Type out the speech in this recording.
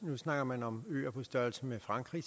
nu snakker man om øer på størrelse med frankrig